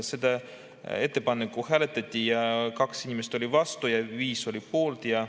Seda ettepanekut hääletati ja 2 inimest oli vastu ja 5 oli poolt.